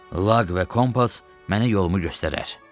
Lag və kompas mənə yolumu göstərər."